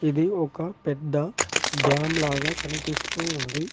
ఇది ఒక పెద్ద డ్యాం లాగా కనిపిస్తూ ఉంది.